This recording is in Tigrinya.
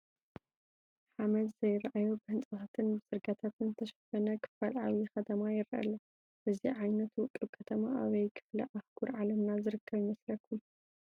ሓመድ ዘይርአዮ ብህንፃታትን ፅርጊያታትን ዝተሸፈነ ክፋል ዓብዪ ከተማ ይርአ ኣሎ፡፡ እዚ ዓይነት ውቑብ ከተማ ኣበይ ክፍለ አህጉር ዓለምና ዝርከብ ይመስለኩም?